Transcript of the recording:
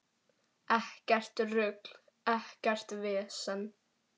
Ekkert rugl, ekkert vesen.